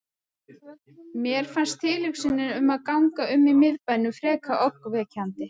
Mér fannst tilhugsunin um að ganga um í miðbænum fremur ógnvekjandi.